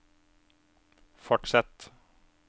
fortsett